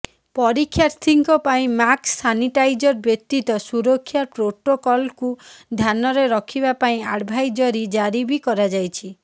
ପରୀକ୍ଷାର୍ଥୀଙ୍କ ପାଇଁ mask sanitiser ବ୍ୟତୀତ ସୁରକ୍ଷା ପ୍ରୋଟୋକଲକୁ ଧ୍ୟାନରେ ରଖିବା ପାଇଁ ଆଡଭାଇଜରି ଜାରି ବି କରାଯାଇଛି